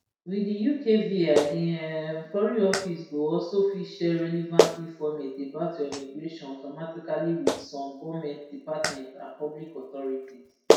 wit di ukvi di um foreign office go also fit share relevant informate about your immigration automatically wit some goment departments and public authorities